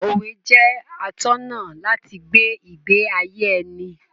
Òwe jẹ́ atọ́nà láti gbé ìgbé ayé ẹni.